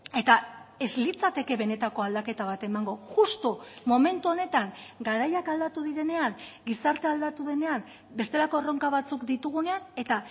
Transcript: eta ez litzateke benetako aldaketa bat emango justu momentu honetan garaiak aldatu direnean gizartea aldatu denean bestelako erronka batzuk ditugunean eta